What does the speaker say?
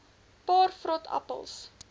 paar vrot appels